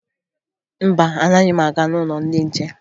Mba, anaghị m aga n'ụlọ ndị nche